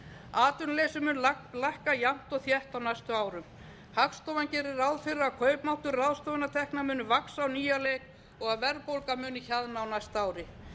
atvinnuleysi mun lækka jafnt og þétt á næstu árum hagstofan gerir ráð fyrir að kaupmáttur ráðstöfunartekna muni vaxa á nýjan leik og að verðbólga muni hjaðna á næsta ári